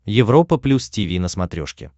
европа плюс тиви на смотрешке